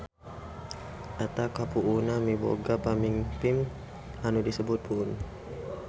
Eta kapuunan miboga pamingpin anu disebut puun